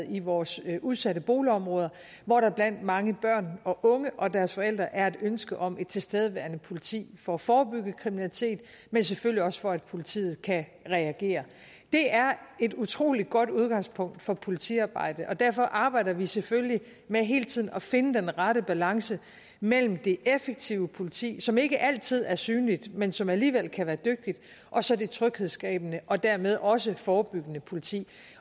i vores udsatte boligområder hvor der blandt mange børn og unge og deres forældre er et ønske om et tilstedeværende politi for at forebygge kriminalitet men selvfølgelig også for at politiet kan reagere det er et utrolig godt udgangspunkt for politiarbejde og derfor arbejder vi selvfølgelig med hele tiden at finde den rette balance mellem det effektive politi som ikke altid er synligt men som alligevel kan være dygtigt og så det tryghedsskabende og dermed også forebyggende politi